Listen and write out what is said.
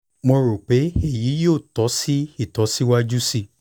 mo ro pe eyi yoo tọ ọ si itọju siwaju sii